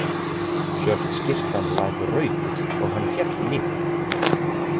Svört skyrtan lak rauðu og hann féll niður.